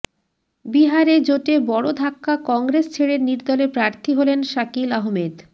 বিহারে জোটে বড় ধাক্কা কংগ্রেস ছেড়ে নির্দলে প্রার্থী হলেন শাকিল আহমেদ